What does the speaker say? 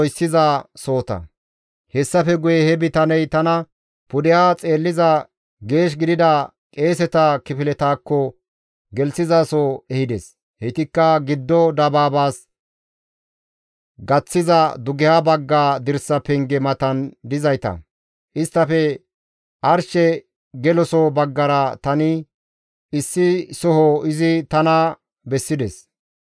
Hessafe guye he bitaney tana pudeha xeelliza geesh gidida qeeseta kifiletaakko gelizaso ehides. Heytikka giddo dabaabaakko gaththiza dugeha bagga dirsa penge matan dizayta. Isttafe arshe geloso baggara issi soho izi tana bessides.